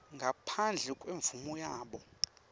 ngaphandle kwemvumo yabo